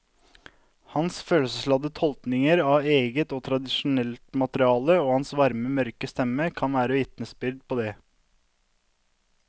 Hans følelsesladde tolkninger av eget og tradisjonelt materiale og hans varme mørke stemme kan være vitnesbyrd på det.